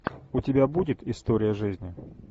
у тебя будет история жизни